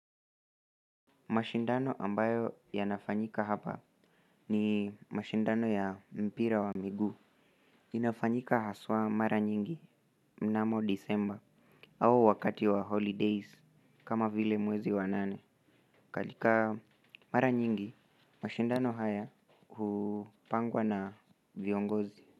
Mashindano ambayo yanafanyika hapa ni mashindano ya mpira wa miguu. Inafanyika haswa mara nyingi mnamo Disemba au wakati wa holidays kama vile mwezi wa nane. Katika mara nyingi, mashindano haya hupangwa na viongozi.